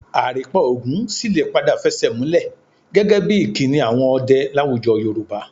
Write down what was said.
Àrìnpa ogún sì lè padà fẹsẹ̀múlẹ̀ gẹ́gẹ́ bí ìkíni àwọn ọdẹ láwùjọ Yorùbá